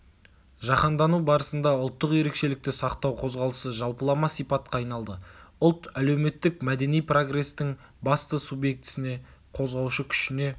жаһандану барысында ұлттық ерекшелікті сақтау қозғалысы жалпылама сипатқа айналды ұлт әлеуметтік-мәдени прогрестің басты субъектісіне қозғаушы күшіне